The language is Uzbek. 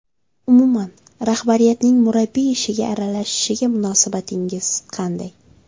Umuman rahbariyatning murabbiy ishiga aralashishiga munosabatingiz qanday?